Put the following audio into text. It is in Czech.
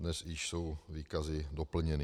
Dnes již jsou výkazy doplněny.